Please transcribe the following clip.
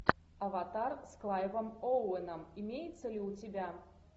аватар с клайвом оуэном имеется ли у тебя